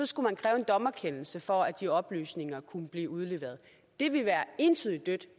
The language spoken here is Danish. skulle man kræve en dommerkendelse for at de oplysninger kunne blive udleveret det vil være entydigt dødt